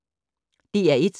DR1